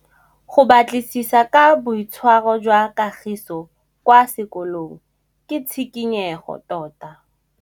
Go batlisisa ka boitshwaro jwa Kagiso kwa sekolong ke tshikinyêgô tota.